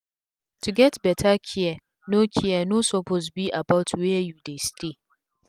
to get beta care no care no suppose be about were u dey stay